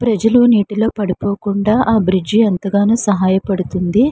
ప్రజలు నీటిలో పడిపోకుండ ఆ బిడ్జ్ ఎంతగానో సహాయ పడుతుంది.